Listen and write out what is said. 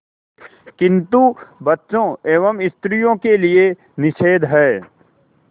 किंतु बच्चों एवं स्त्रियों के लिए निषेध है